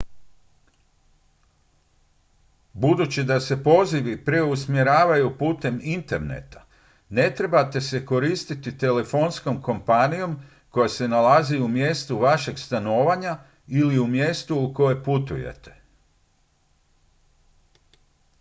budući da se pozivi preusmjeravaju putem interneta ne trebate se koristiti telefonskom kompanijom koja se nalazi u mjestu vašeg stanovanja ili u mjestu u koje putujete